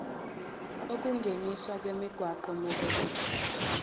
ukungeniswa kwemigwaqo mobility